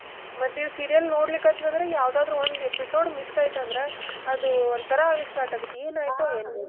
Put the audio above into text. ಮತ್ತ್ ಇವ್ serial ನೋಡ್ಲಿಕತ್ವಿ ಅಂದ್ರೆ ಯಾವ್ದಾದ್ರು ಒಂದ್ episode miss ಆಯ್ತ್ ಅಂದ್ರೆ ಅದು ಒಂದ್ ತರಾ ಆಗ್ಲಿಕ್ಕ್ start ಆಗುತ್ತೆ ಏನ್ ಆಯ್ತೋ ಏನೊ .